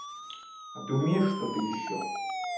а ты умеешь что-то ещё